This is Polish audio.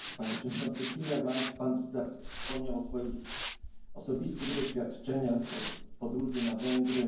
Panie Przewodniczący Timmermans! Pan wspomniał o swoich osobistych doświadczeniach, o podróży na Węgry.